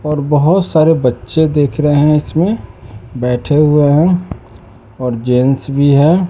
और बहोत सारे बच्चे देख रहे हैं इसमें बैठे हुए हैं और जेंस भी हैं।